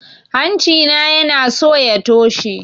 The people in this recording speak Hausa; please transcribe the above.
Hanci na yanaso ya toshe